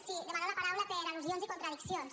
sí demano la paraula per al·lusions i contradiccions